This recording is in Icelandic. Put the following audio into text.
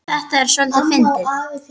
Það er soldið fyndið.